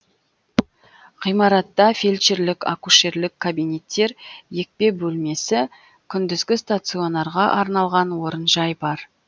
ғимаратта фельдшерлік акушерлік кабинеттер екпе бөлмесі күндізгі стационарға арналған орынжай бар